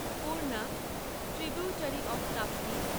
Purna tributary of Tapti